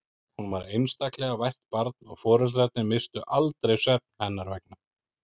Hún var einstaklega vært barn og foreldrarnir misstu aldrei svefn hennar vegna.